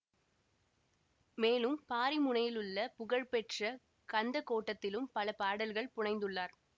மேலும் பாரிமுனையிலுள்ள புகழ்பெற்ற கந்த கோட்டத்திலும் பல பாடல்கள் புனைந்துள்ளார்